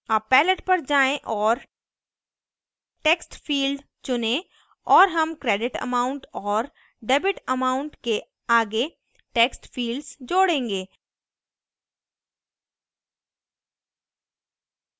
अब palette पर जाएँ और textfield चुनें और हम credit amount और debit amount के आगे text fields जोड़ेंगे